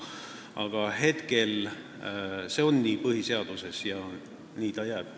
Aga praegu on põhiseaduses nii kirjas ja nii ta jääb.